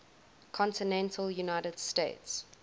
continental united states